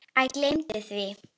Æ, gleymdu því.